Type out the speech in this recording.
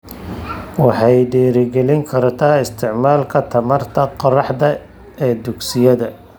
Waxay dhiirigelin kartaa isticmaalka tamarta qorraxda ee dugsiyada.